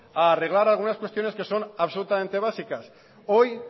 a arreglar algunas cuestiones que son absolutamente básicas hoy